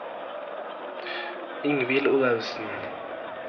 Ingvill Olaussen